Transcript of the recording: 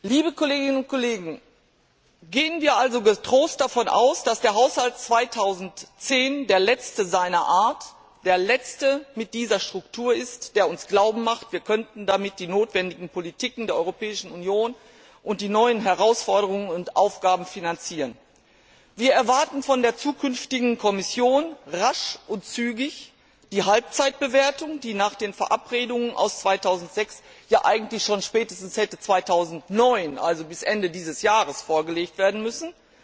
Liebe Kolleginnen und Kollegen, gehen wir also getrost davon aus, dass der Haushalt 2010 der letzte seiner Art, der letzte mit dieser Struktur ist, der uns glauben macht, wir könnten damit die notwendigen Politiken der Europäischen Union und die neuen Herausforderungen und Aufgaben finanzieren. Wir erwarten von der zukünftigen Kommission rasch und zügig die Halbzeitbewertung, die nach den Absprachen aus dem Jahr 2006 ja schon spätestens 2009 also bis Ende dieses Jahres hätte vorgelegt werden müssen.